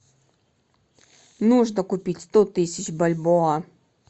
нужно купить сто тысяч бальбоа